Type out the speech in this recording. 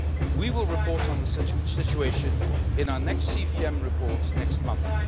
We will report on the situation in our next CVM report next month.